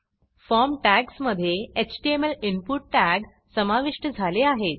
form टॅग्जमधे HTML input tag समाविष्ट झाले आहेत